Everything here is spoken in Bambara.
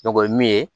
o ye min ye